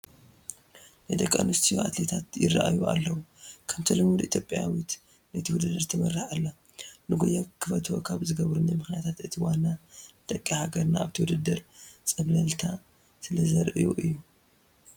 ናይ ደቂ ኣንስትዮ ኣትሌታት ይርአዩ ኣለዉ፡፡ ከምቲ ልሙድ ኢትዮጵያዊት ነቲ ውድድር ትመርሖ ኣላ፡፡ ንጉያ ክፈትዎ ካብ ዝገበሩኒ ምኽንያታት እቲ ዋና ደቂ ሃገርና ኣብቲ ድድር ፀብለልታ ስለዘርእዩ እዩ፡፡